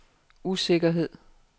usikkerhed